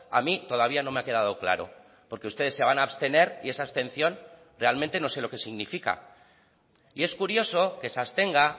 a mí todavía no me ha quedado claro porque ustedes se van a abstener y esa abstención realmente no sé lo que significa y es curioso que se abstenga